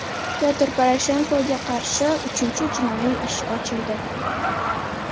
Pyotr Poroshenkoga qarshi uchinchi jinoiy ish ochildi.